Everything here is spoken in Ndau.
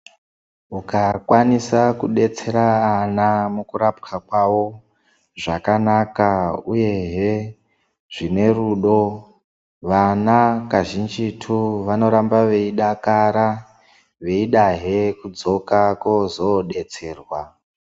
Ukakwanisa kudetsera vana mukurapwa kwavo zvakanaka uyehe zvine rudo vana kazhinjitu vanoramba veidakara veidahe kudzoka koozodetserwa.